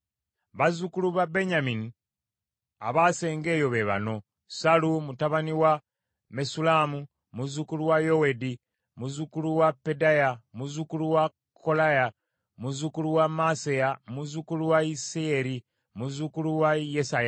Bazzukulu ba Benyamini abaasenga eyo be bano: Sallu mutabani wa Mesullamu, muzzukulu wa Yowedi, muzzukulu wa Pedaya, muzzukulu wa Kolaya, muzzukulu wa Maaseya, muzzukulu wa Isiyeri, muzzukulu wa Yesaya;